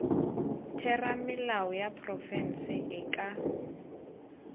theramelao ya profense e ka